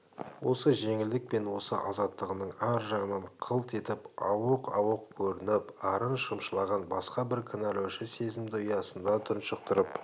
осы жеңілдік пен осы азаттығының ар жағынан қылт етіп ауық-ауық көрініп арын шымшылаған басқа бір кінәлаушы сезімді ұясында тұншықтырып